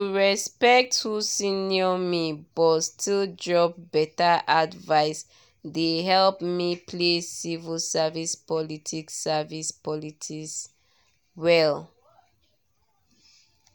to respect who senior me but still drop better advice dey help me play civil service politics service politics well.